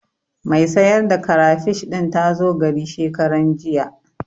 Mai sayar da karafish ɗin ta zo gari shekaranjiya.